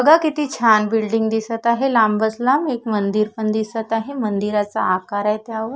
बगा किती छान बिल्डिंग दिसत आहे लांबच लांब एक मंदिर पण दिसत आहे मंदिराचा आकार अय त्यावर.